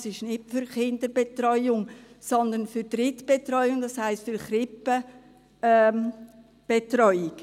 Es ist nicht für die Kinderbetreuung, sondern für Drittbetreuung, das heisst für Krippenbetreuung.